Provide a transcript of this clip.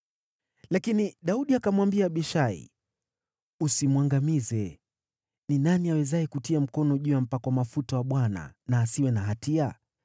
Lakini Daudi akamwambia Abishai, “Usimwangamize! Ni nani awezaye kutia mkono juu ya mpakwa mafuta wa Bwana na asiwe na hatia?”